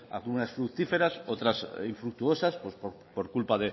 algunas fructíferas otras infructuosas por culpa